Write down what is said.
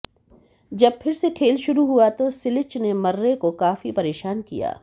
जब फिर से खेल शुरू हुआ तो सिलिच ने मर्रे को काफी परेशान किया